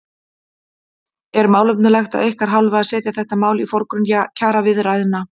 Er málefnalegt af ykkar hálfu að setja þetta mál í forgrunn kjaraviðræðna?